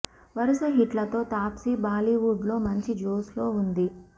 వరుస హిట్లతో తాప్సి బాలీవుడ్ లో మంచి జోష్ లో ఉంది